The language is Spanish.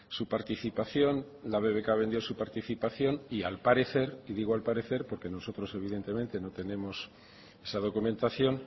su participación la bbk vendió su participación y al parecer digo al parecer porque nosotros evidentemente no tenemos esa documentación